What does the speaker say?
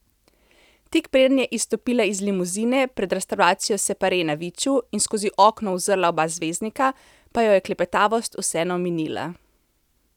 Tik preden je izstopila iz limuzine, pred restavracijo Separe na Viču, in skozi okno uzrla oba zvezdnika, pa jo je klepetavost vseeno minila.